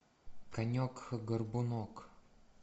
конек горбунок